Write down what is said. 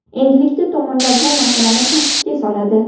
Endilikda tomonlar bu masalani tartibga soladi.